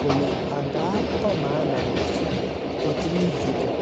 kolee angaa boo kamanut kotililil chitoo